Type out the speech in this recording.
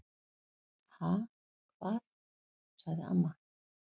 """Ha, hvað? sagði amma."""